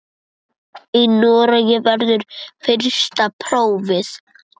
Í Noregi verður fyrsta prófið.